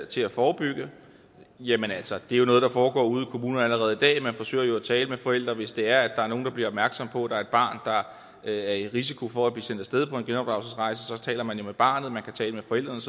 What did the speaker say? til at forebygge jamen altså det er jo noget der foregår ude i kommunerne allerede i dag man forsøger jo at tale med forældrene hvis der er nogen der bliver opmærksomme på at der er et barn der er i risiko for at blive sendt af sted på en genopdragelsesrejse så taler man jo med barnet man kan tale med forældrene